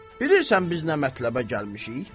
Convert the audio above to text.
Bilirsən biz nə mətləbə gəlmişik?